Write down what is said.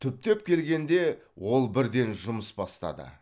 түптеп келгенде ол бірден жұмыс бастады